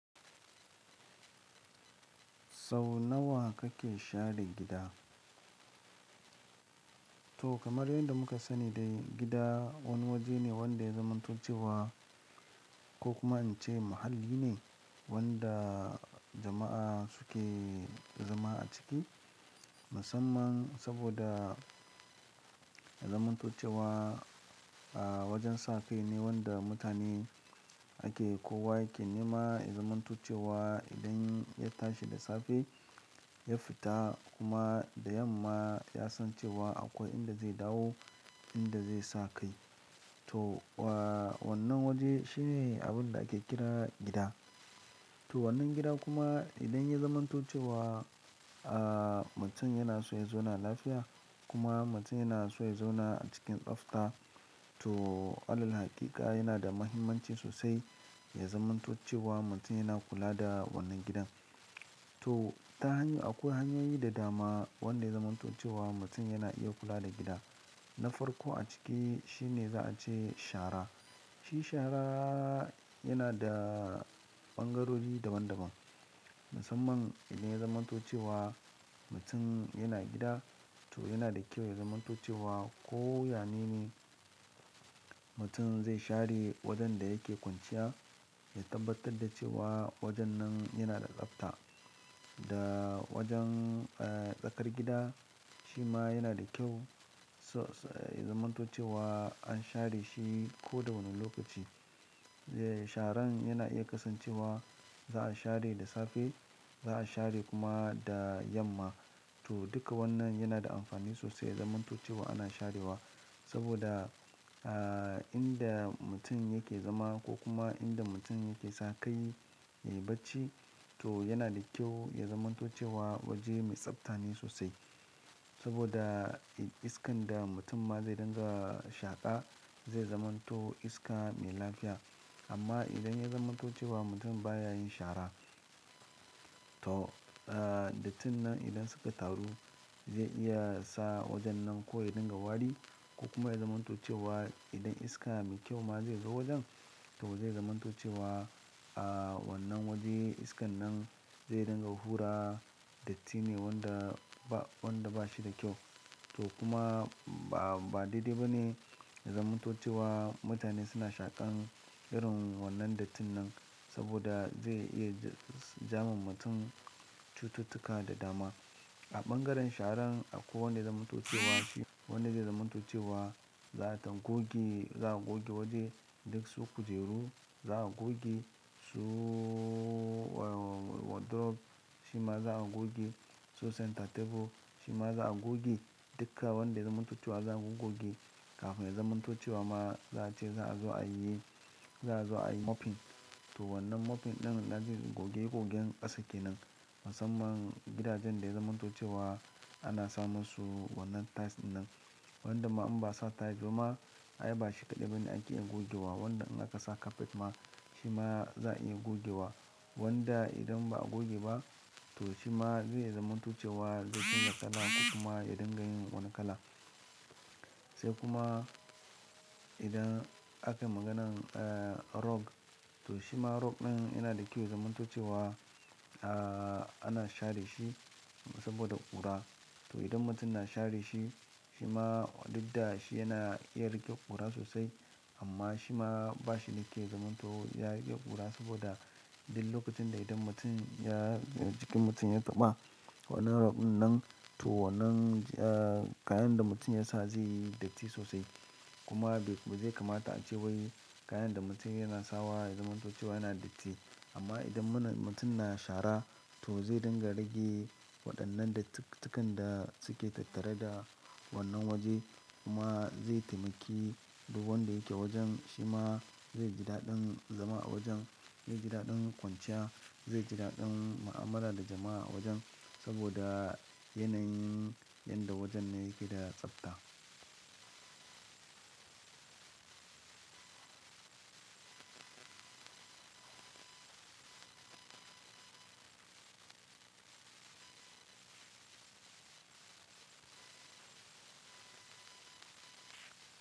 Sau nawa kake share gida? To kamar yadda muka sani dai gida wani waje ne wanda ya zamanto cewa ko kuma ince muhalli ne wanda jama'a suke zama a ciki. Musamman saboda ya zamanto cewa a wajen sa kaine wanda mutane ake kowa yake nema ya zamanto cewa idan ya tashi da safe ya fita kuma da yamma yasan cewa akwai inda zai dawo inda zai sa kai to wa wannan waje shine abun da ake kira gida. To wannan gida kuma idan ya zamanto cewa, ah mutum yana so ya zauna lafiya kuma mutum yana so ya zauna a cikin tsafta. To allal hakika yana da muhimmanci sosai ya zamanto cewa mutum yana kula da wannan gidan. To ta hanyar akwai hanyoyi da dama wanda ya zamanto cewa mutum yana iya kula da gida. Na farko a ciki shine za a ce shara. Shi shara yana da ɓangarori daban daban. Musanman idan ya zamanto cewa mutum yana gida to yana da kyau ya zamanto cewa ko ya ne ne mutum zai share wajen da yake kwanciya ya tabbatar da cewa wajen nan yana da tsafta. Da wajen ah, tsakar gida shi ma yana da kyau so s ya zamanto cewa an share shi ko da wane lokaci. Sharan yana iya kasancewa za'a share da safe za'a share kuma da yamma to duka wannan yana da amfani sosai ya zamanto cewa ana sharewa saboda a inda mutum yake zama ko kuma inda mutum yake sa kai yayi bacci to yana da kyau ya zamanto cewa waje mai tsafta ne sosai. Saboda iskan da mutum ma zai dinga shaƙa zai zamanto iska mai lafiya. Amma idan ya zamantocewa mutum baya yin shara to ah, dattin nan idan suka taru zai iya sa wajen nan ko ya dinga wari ko kuma ya zamanto cewa idan iska mai kyau ma zai zo wajen to zai zamanto cewa ah, wannan waje iskan nan zai dinga hura datti ne wanda ba wanda bashi da kyau. To kuma ban ba dai dai bane ya zamanto cewa mutane suna shaƙan irin wannan dattin nan saboda zai iya da ja ma mutum cututtuka da dama. A ɓangaren sharan akwai wanda ya zamanto cewa shi, wanda zai zamanto cewa zata goge za'a goge waje duk su kujeru za a goge su wa wardrobe shi ma za a goge su center table shi ma za a goge duka wanda zamanto cewa za'a goggoge. Kafin ya zamanto cewa ma za a ce za a zo a yi, za a zo a yi mopping. To wannan mopping ɗin na goge gogen ƙasa kenan musanman gidajen da ya zamanto cewa ana sa musu wannan tiles ɗin nan wanda ma in ba sa tiles ba ma ai ba shi kaɗai ba ne ake iya gogewa. Wanda in aka sa carpet ma shi ma za'a iya gogewa. Wanda idan ba a goge ba to shi ma zai zamanto cewa zai dinga kala ko kuma ya dinga yin wani kala. Sai kuma idan akayi maganan eh, rug to shima rug ɗin yana da kyau ya zamanto cewa ah ana share shi saboda ƙura to idan mutum na share shi shi ma dukda shi yana iya riƙe ƙura sosai amma shi ma bashi da kyau ya zamanto ya riƙe ƙura saboda duk lokacin da idan mutum ya jikin mutum ya taɓa wannan rug ɗin nan to wannan kayan da mutum ya sa zai yi datti sosai kuma bai bazai kamata a ce wai kayan da mutum yana sawa ya zamanto cewa yana datti. Amma idan muna mutum na shara to zai dinga rage waɗannan dattukan da suke tattare da wannan waje kuma zai taimaki duk wanda yake wajen shi ma zai ji daɗin zama a wajen, zai ji daɗin kwanciya, zai ji daɗin mu'amala da jama'a a wajen saboda yanayin yanda wajen nan yake da tsafta.